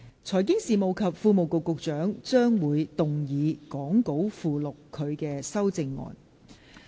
財經事務及庫務局局長將會動議講稿附錄他的修正案。